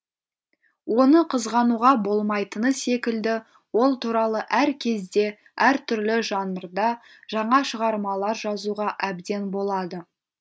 оны қызғануға болмайтыны секілді ол туралы әр кезде әр түрлі жанрда жаңа шығармалар жазуға әбден болады